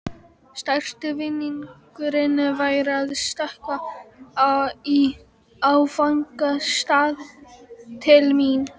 Stærsti vinningurinn væri að stökkva í áfangastað til mín.